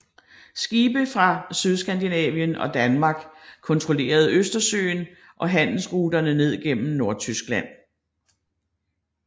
Skibe fra Sydskandinavien og Danmark kontrollerede Østersøen og handelsruterne ned gennem Nordtyskland